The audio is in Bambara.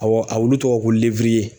Awɔ a wuli tɔgɔ ko